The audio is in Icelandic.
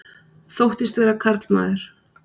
Þóttist vera karlmaður